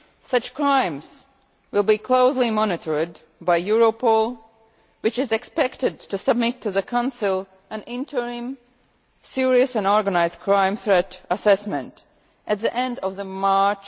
Such crimes will be closely monitored by Europol, which is expected to submit to the Council an interim Serious and Organised Crime Threat Assessment at the end of March